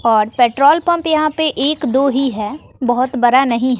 और petrol pump यहां पे एक दो ही है बहोत बरा नहीं--